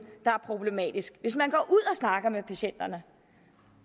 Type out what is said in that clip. der er problematisk hvis man og snakker med patienterne